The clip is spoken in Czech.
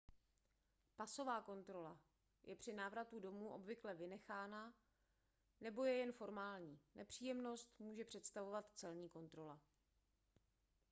pasová kontrola je při návratu domů obvykle vynechána nebo je jen formální nepříjemnost může představovat celní kontrola